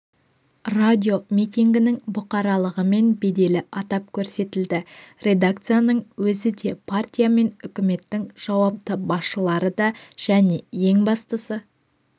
радиомитингінің бұқаралығы мен беделі атап көрсетілді редакцияның өзі де партия мен үкіметтің жауапты басшылары да және ең бастысы